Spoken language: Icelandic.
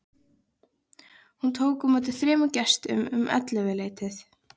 Hún tók á móti þremur gestum um ellefuleytið.